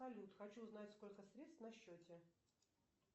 салют хочу узнать сколько средств на счете